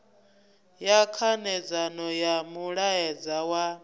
ya khanedzano ya mulaedza wa